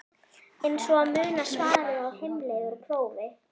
Eins og að muna svarið á heimleið úr prófi?